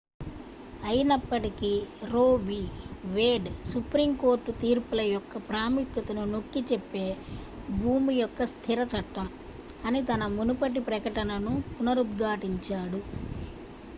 "అయినప్పటికీ Roe v. Wade "supreme court తీర్పుల యొక్క ప్రాముఖ్యతను నొక్కిచెప్పే "భూమి యొక్క స్థిర చట్టం" అని తన మునుపటి ప్రకటనను పునరుద్ఘాటించాడు.